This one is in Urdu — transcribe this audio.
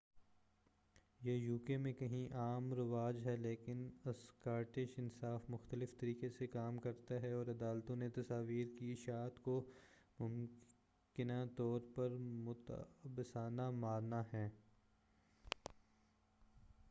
یہ یوکے میں کہیں عام رواج ہے لیکن اسکاٹش انصاف مختلف طریقے سے کام کرتا ہے اور عدالتوں نے تصاویر کی اشاعت کو ممکنہ طور پر متعصبانہ مانا ہے